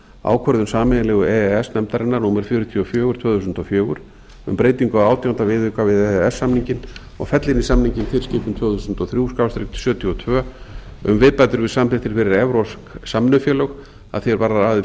ákvörðun sameiginlegu e e s nefndarinnar númer fjörutíu og fjögur tvö þúsund og fjögur um breytingu á átjánda viðauka við e e s samninginn og fella inn í samninginn tilskipun tvö þúsund og þrjú sjötíu og tvö um viðbætur við samþykktir fyrir evrópsk samvinnufélög að því er varðar aðild